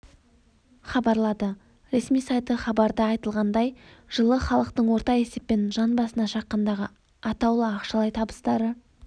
хабарлады ресми сайты хабарда айтылғандай жылы халықтың орта есеппен жан басына шаққандағы атаулы ақшалай табыстары